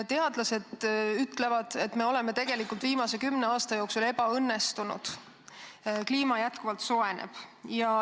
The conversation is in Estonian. Teadlased ütlevad, et me oleme tegelikult viimase kümne aasta jooksul tegutsenud ebaõnnestunult, kliima jätkuvalt soojeneb.